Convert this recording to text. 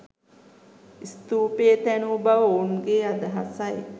ස්ථූපය තැනූ බව ඔවුන්ගේ අදහසයි.